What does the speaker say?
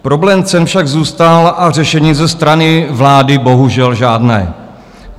Problém cen však zůstal a řešení ze strany vlády bohužel žádné.